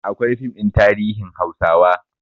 Akwai fim ɗin tarihin hausawa